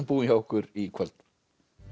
búinn hjá okkur í kvöld